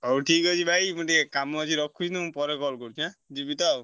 ହଉ ଠିକ ଅଛି ଭାଇ ମୁଁ ଟିକେ କାମ ଅଛି ରଖୁଛି ମୁଁ ପରେ call କରୁଛି ଆଁ ଯିବି ତ ଆଉ।